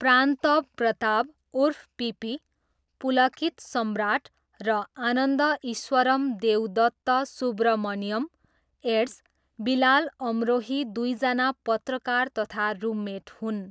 प्रान्तभ प्रताप उर्फ पिपी, पुलकित सम्राट र आनन्द ईश्वरम देवदत्त सुब्रमण्यम एड्स, बिलाल अमरोही दुईजना पत्रकार तथा रुममेट हुन्।